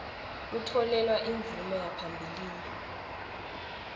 kutfolelwa imvume yaphambilini